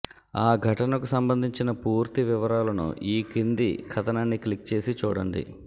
ఆ ఘటనకు సంబంధించిన పూర్తి వివరాలను ఈ కింది కథనాన్ని క్లిక్ చేసి చూడండి